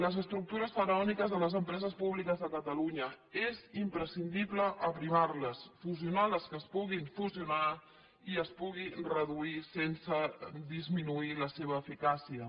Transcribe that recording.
les estructures faraòniques de les empreses públiques de catalunya és imprescindible aprimar les fusionar les que es puguin fusionar i es puguin reduir sense disminuir la seva eficàcia